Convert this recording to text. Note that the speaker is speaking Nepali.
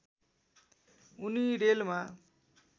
उनी रेलमा